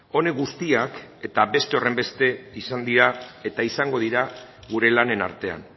honek guztiak eta beste horrenbeste izan dira eta izango dira gure lanen artean